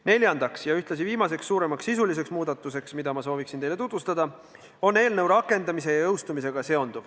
Neljas ja ühtlasi viimane suurem sisuline muudatus, mida ma soovin teile tutvustada, seondub eelnõu rakendamise ja jõustumisega.